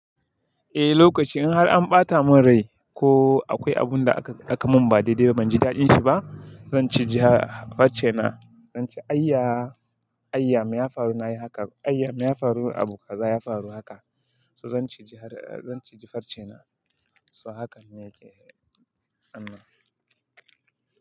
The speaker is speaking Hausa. Eh lokaci in har an ɓata mun rai ko akwai abun da aka mun ba dai-dai ba banji daɗin shi ba, zan ciji farcena, zan ce ayya, ayya me ya faru na yi haka? Ayya me ya faru abu kaza ya faru haka. So zan ciji farcena. So hakan ne yake. Allah.